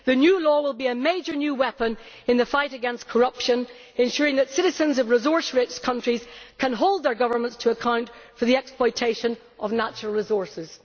The new law will be a major new weapon in the fight against corruption, ensuring that citizens of resource rich countries can hold their governments to account for the exploitation of natural resources.